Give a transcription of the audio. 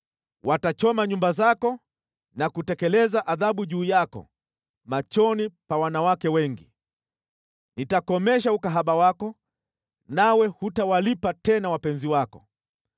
Watachoma nyumba zako na kutekeleza adhabu juu yako machoni pa wanawake wengi. Nitakomesha ukahaba wako, nawe hutawalipa tena wapenzi wako.